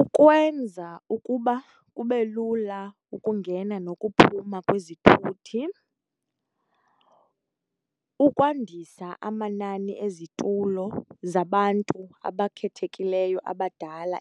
Ukwenza ukuba kube lula ukungena nokuphuma kwezithuthi, ukwandisa amanani ezitulo zabantu abakhethekileyo abadala